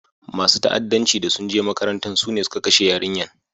Masun fa'addanci da sun je makarantan su ne sun kashe yarinyan.